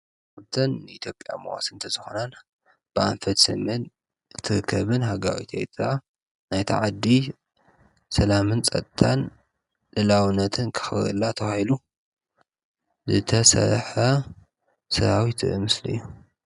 እተን ንኢትዮጵያ መዋስንቲ ዝኾና ብኣንፈት ሰሜን ትርከብን ሃገራዊት ኤርትራ ናይቲ ዓዲ ሰላምን ፀጥታን ልኡላውነትን ከኽብረላ ተባሂሉ ዝተሰርሐ ሰራዊት ዘርኢ ምስሊ እዩ፡፡